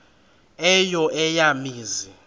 eyo eya mizi